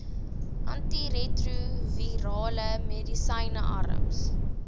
antiretrovirale medisyne arms